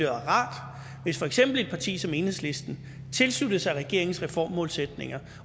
rart hvis for eksempel et parti som enhedslisten tilsluttede sig regeringens reformmålsætninger